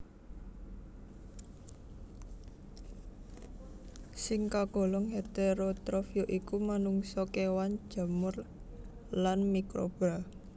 Sing kagolong heterotrof ya iku manungsa kewan jamur lan mikroba